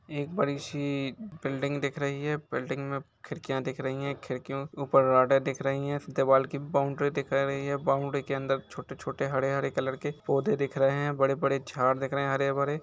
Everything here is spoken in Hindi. एक बड़ी सी बिल्डिंग दिख रही है बिल्डिंग मे खिंडकियाँ दिख रही हैं खिड़कियों के ऊपर रॉडे दिख रही है दीवाल की बाउंड्री दिख रही है बाउंड्री के अंदर छोटे-छोटे हरे-हरे कलर के पौधे दिख रहे हैं बड़े बड़े झाड़ दिख रहे हैं हरे-भरे।